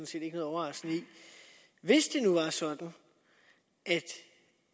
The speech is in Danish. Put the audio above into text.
set ikke noget overraskende i hvis det nu var sådan at